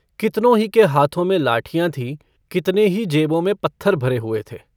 कितनो ही के हाथों में लाठियाँ थीं कितने ही जेबों में पत्थर भरे हुए थे।